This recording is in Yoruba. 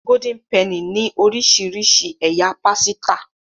Golden Penny ní orísirísi ẹyà pàsìta.